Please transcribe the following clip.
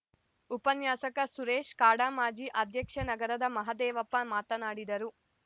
ಉಪನ್ಯಾಸಕ ಸುರೇಶ್‌ ಕಾಡಾ ಮಾಜಿ ಅಧ್ಯಕ್ಷ ನಗರದ ಮಹದೇವಪ್ಪ ಮಾತನಾಡಿದರು